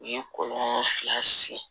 U ye kɔlɔn fila sen